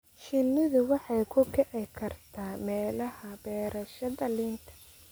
Shinnidu waxay ku kici kartaa meelaha beerashada liinta.